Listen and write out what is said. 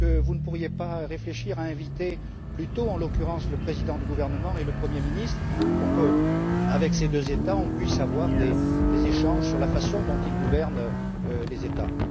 Ne pourriez vous pas réfléchir à inviter plutôt, en l'occurrence, le président du gouvernement et le Premier ministre pour que, avec ces deux États, nous puissions avoir des échanges sur la façon dont ils gouvernent les États?